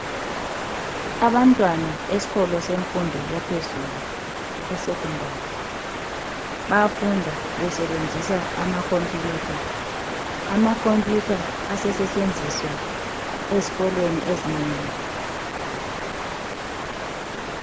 Abantwana esikolo semfundo yaphezulu esecondary, bayafunda basebenzisa amakhompuyutha. Amakhompuyutha asesetshenziswa ezikolweni ezinengi.